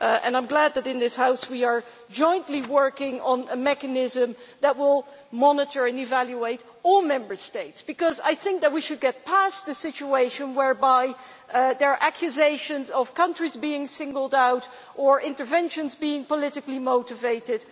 I am glad that, in this House, we are jointly working on a mechanism that will monitor and evaluate all the Member States because I think that we should move beyond the situation in which there are accusations of countries being singled out, or of interventions being politically motivated.